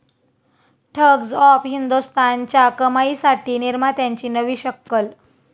thugs of हिंदोस्तान'च्या कमाईसाठी निर्मात्यांची नवी शक्कल